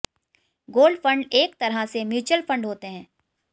gold fund एक तरह से म्यूचुअल फंड होते हैं